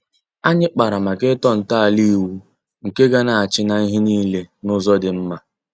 Anyị kpara màkà ịtọ nto ala ịwụ nke ga-na achị n'ihe niile n'ụzọ dị mma.